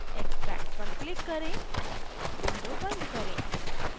extract पर click करें window बंद करें